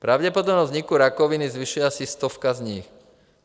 Pravděpodobnost vzniku rakoviny zvyšuje asi stovka z nich.